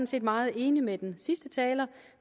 set meget enig med den sidste taler